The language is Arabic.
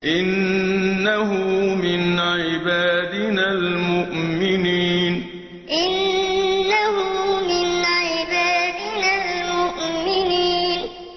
إِنَّهُ مِنْ عِبَادِنَا الْمُؤْمِنِينَ إِنَّهُ مِنْ عِبَادِنَا الْمُؤْمِنِينَ